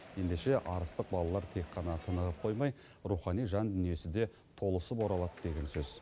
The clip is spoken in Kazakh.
ендеше арыстық балалар тек қана тынығып қоймай рухани жан дүниесі де толысып оралады деген сөз